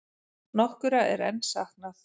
Nokkurra er enn saknað.